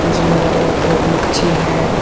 इसमें अलग अलग तरह कि मच्छी है।